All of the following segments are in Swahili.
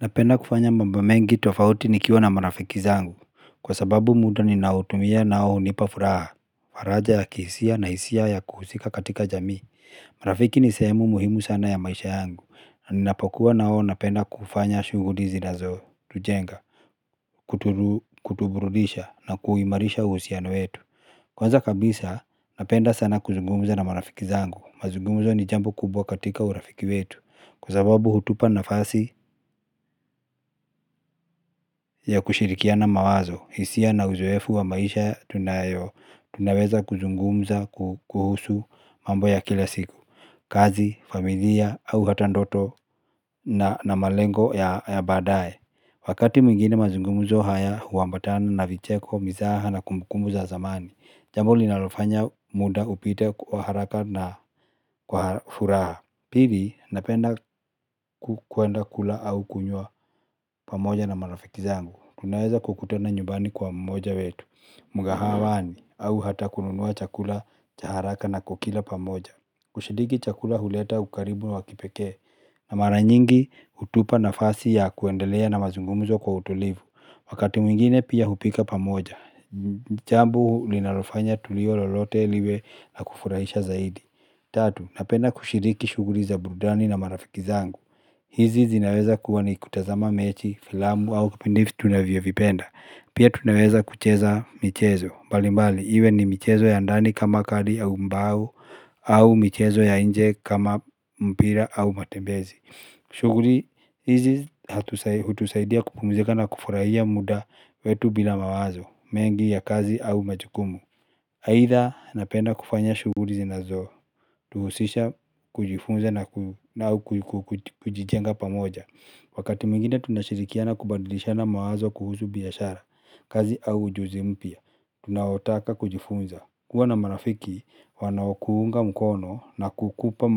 Napenda kufanya mambo mengi tofauti nikiwa na marafiki zangu kwa sababu muda ninautumia nao hunipa furaha faraja ya kihisia na hisia ya kuhusika katika jamii. Marafiki ni sehemu muhimu sana ya maisha yangu na ninapakuwa nao napenda kufanya shughuli zinazo tujenga. Kutubrudisha na kuimarisha uhusiano wetu. Kwanza kabisa napenda sana kuzungumza na marafiki zangu mazungumzo ni jambo kubwa katika urafiki wetu. Kwa sababu hutupa nafasi ya kushirikiana mawazo, hisia na uzoefu wa maisha tunaweza kuzungumza kuhusu mambo ya kila siku, kazi, familia au hata ndoto na malengo ya baadaye. Wakati mwngine mazungumzo haya huambatana na vicheko, mizaha na kumbukumbu za zamani, jambo linalofanya muda upite kwa haraka na kwa furaha. Pili, napenda kwenda kula au kunywa pamoja na marafiki zangu. Tunaweza kukutana nyumbani kwa mmoja wetu, mkahawani, au hata kununua chakula cha haraka na kukila pamoja. Kushiriki chakula huleta ukaribu wa kipeke. Na mara nyingi hutupa nafasi ya kuendelea na mazungumuzo kwa utulivu. Wakati mwingine pia hupika pamoja. Jambo linalofanya tulio lolote liwe na kufurahisha zaidi. Tatu, napenda kushiriki shughuli za burudani na marafiki zangu. Hizi zinaweza kuwa ni kutazama mechi, filamu au vipindi tunavyo vipenda. Pia tunaweza kucheza michezo mbalimbali, iwe ni michezo ya ndani kama kadi au mbao au michezo ya nje kama mpira au matembezi. Shughuli hizi hutusaidia kupumzika na kufurahia muda wetu bila mawazo mengi ya kazi au majukumu aidha, napenda kufanya shughuli rzinazo tuhusisha kujifunza na au kujijenga pamoja. Wakati mwingine tunashirikiana kubandilishana mawazo kuhusu biashara kazi au ujuzi mpya tunaotaka kujifunza. Kuwa na marafiki wanao kuunga mkono na kukupa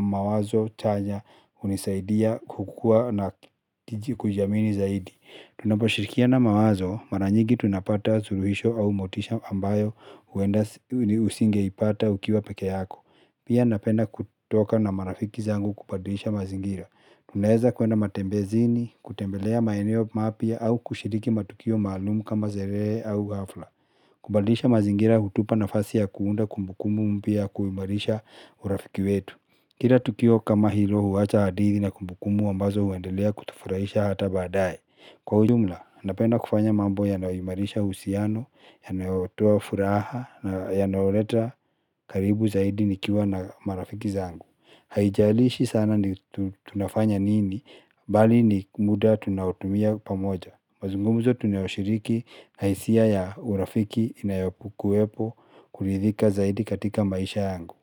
mawazo chanya hunisaidia kukuwa na kujiamini zaidi. Tunapishirikiana mawazo mara nyigi tunapata suluhisho au motisha ambayo usingeipata ukiwa peke yako. Pia napenda kutoka na marafiki zangu kubadisha mazingira. Tunaaeza kwenda matembezini, kutembelea maeneo mapya au kushiriki matukio maalumu kama sherehe au hafla. Kubadilisha mazingira hutupa nafasi ya kuunda kumbukumbu mpya ya kuimarisha urafiki wetu. Kila tukio kama hilo huwacha hadithi na kumbukumbu ambazo huendelea kutufurahisha hata baadaye. Kwa ujumla, napenda kufanya mambo yanayoimarisha uhusiano, yanayotua furaha na yanayoleta karibu zaidi nikiwa na marafiki zangu. Haijalishi sana ni tunafanya nini, bali ni muda tunaotumia pamoja. Mazungumzo tunayoshiriki na hisia ya urafiki inayokuwepo kuridhika zaidi katika maisha yangu.